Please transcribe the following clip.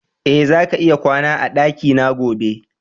E, zaka iya kwana a dakina gobe.